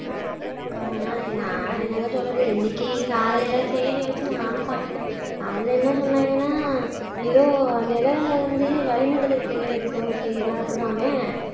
நான் என்னங்க சொல்லுறது இன்னைக்கு காலையில செய்தியை வச்சு நானும் பாத்தேன் அதுல என்ன சொன்னாங்கன்னா ஏதோ நிலவுல வந்து வளி மண்டலத்தில சுழற்சி நடக்குதாமே